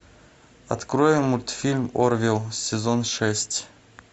открой мультфильм орвилл сезон шесть